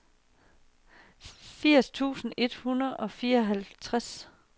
firs tusind et hundrede og fireoghalvtreds